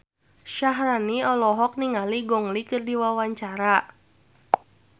Syaharani olohok ningali Gong Li keur diwawancara